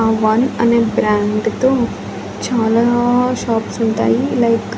ఆ వన్ అనే బ్రాండ్ తో చాలా షాప్స్ ఉంటాయి లైక్ .